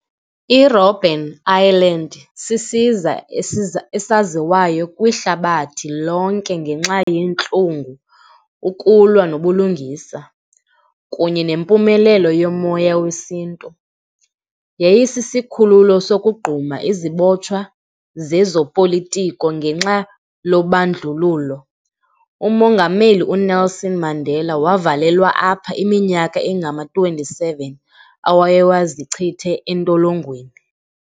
I-Robben Island sisiza esaziwayo kwihlabathi lonke ngenxa yeentlungu, ukulwa nobulungisa kunye nempumelelo yomoya wesiNtu. Yayisisikhululo sokugquma izibotshwa zezopolitiko ngenxa lobandlululo. Umongameli uNelson Mandela wavalelwa apha iminyaka engama-twenty-seven awayewazichitha entolongweni.